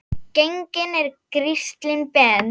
Genginn er Gísli Ben.